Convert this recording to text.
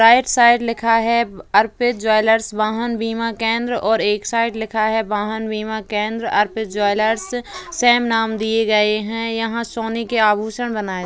right side लिखा है Arpit jewellers वाहन बीमा केंद्र और एक साइड लिखा है वाहन बीमा केंद्र अर्पित ज्वेलर्स | सेम नाम दिए गये हैं| यहाँ सोने के आभूषण बनाये --